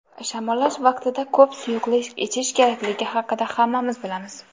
Shamollash vaqtida ko‘p suyuqlik ichish kerakligi haqida hammamiz bilamiz.